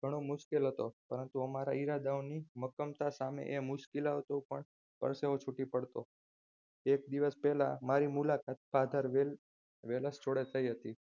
ઘણો મુશ્કેલ હતો પરંતુ અમારા ઈરાદાઓની મક્કમતા સામે આ મુશ્કેલીઓ ટૂંકી પડશે એક દિવસ પહેલા મારી મુલાકાત father વેલેશ જોડે થય હતી.